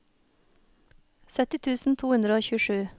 sytti tusen to hundre og tjuesju